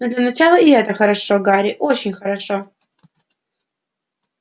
но для начала и это хорошо гарри очень хорошо